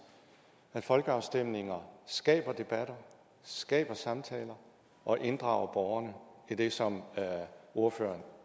at folkeafstemninger skaber debatter skaber samtaler og inddrager borgerne i det som ordføreren